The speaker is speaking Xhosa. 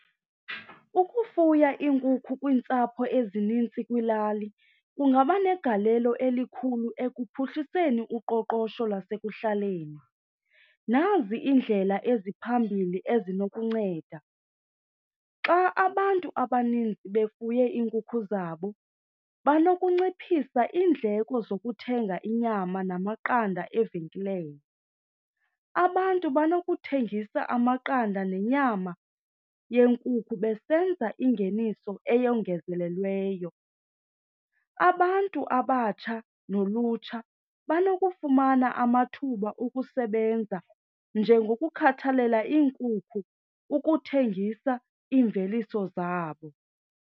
Ukufuya iinkukhu kwiintsapho ezinintsi kwilali kungaba negalelo elikhulu ekuphuhliseni uqoqosho lasekuhlaleni. Nazi iindlela eziphambili ezinokunceda. Xa abantu abaninzi befuye iinkukhu zabo banokunciphisa iindleko zokuthenga inyama namaqanda evenkileni. Abantu banokuthengisa amaqanda nenyama yenkukhu besenza ingeniso eyongezelelweyo. Abantu abatsha nolutsha banokufumana amathuba okusebenza njengokukhathalela iinkukhu, ukuthengisa iimveliso zabo.